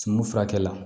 Sunu furakɛ la